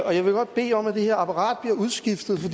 og jeg vil godt bede om at det her apparat bliver udskiftet for